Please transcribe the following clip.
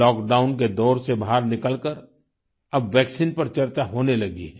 lockdown के दौर से बाहर निकलकर अब वैक्सीन पर चर्चा होने लगी है